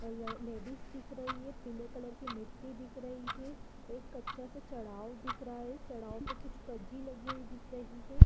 और ल लेडीज दिख रही है पिले कलर की मिट्टी दिख रही है एक कच्चा सा चढ़ाओ दिख रहा है चढ़ाओ पे कुछ कज्जी लगी हुई दिख रही है।